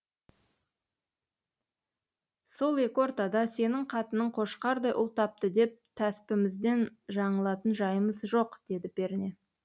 сол екі ортада сенің қатының қошқардай ұл тапты деп тәспімізден жаңылатын жайымыз жоқ деді перне